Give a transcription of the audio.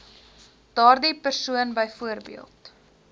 daardie persoon byvoorbeeld